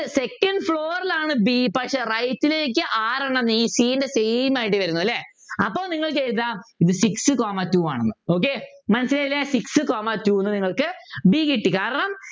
Second floor ലാണ് b പക്ഷെ right ലേക്ക് ആറെണ്ണം ഈ c ൻ്റെ same ആയിട്ട് വരുന്നു അല്ലെ അപ്പോൾ നിങ്ങൾക്ക് ഏതാ ഇത് six comma two ആണെന്ന് മനസ്സിലായില്ലേ six comma two എന്ന് നിങ്ങൾക്ക് b കിട്ടി കാരണം